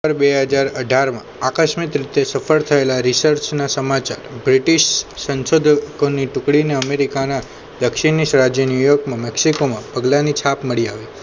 બે હાજર અઠાર માં અકસ્મિત રીતે સફળ થયેલા રિસર્ચના સમાચાર બ્રિટિશ સંશોધકોની ટુકડીને અમેરિકાના દક્ષીણની રાજય ન્યુયોર્ક માં મેક્ષિકો માં પગલા ની છાપ મળી આવી